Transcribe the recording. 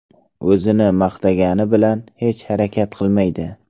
O‘zini maqtagani bilan hech harakat qilmaydi.